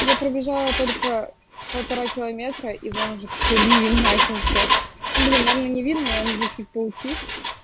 я пробежала только полтора километра и вон уже такой ливень начался блин наверное не видно и он уже чуть поутих